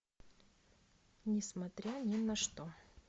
несмотря ни на что